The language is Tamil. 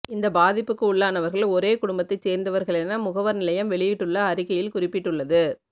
இந்த பாதிப்புக்கு உள்ளானவர்கள் ஒரே குடும்பத்தைச் சேர்ந்தவர்களென முகவர் நிலையம் வெளியிட்டுள்ள அறிக்கையில் குறிப்பிட்டுள்ளது